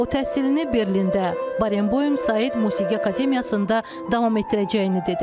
O təhsilini Berlində Barenboym Said Musiqi Akademiyasında davam etdirəcəyini dedi.